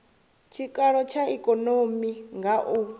tshikalo tsha ikonomi nga u